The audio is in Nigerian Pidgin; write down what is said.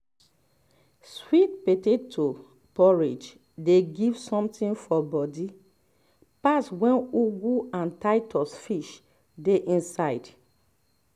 sweet potato porridge dey give something for body pass wen ugu and titus fish dey inside